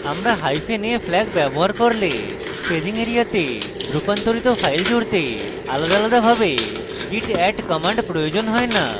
আমরা hyphen a flag ব্যবহার করলে আমাদের staging এরিয়াতে রূপান্তরিত files জুড়তে আলাদাভাবে git add command প্রয়োজন হয় না